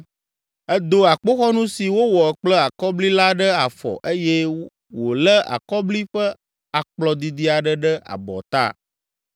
Edo akpoxɔnu si wowɔ kple akɔbli la ɖe afɔ eye wòlé akɔbli ƒe akplɔ didi aɖe ɖe abɔta.